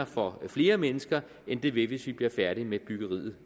for flere mennesker end det vil hvis vi bliver færdige med byggeriet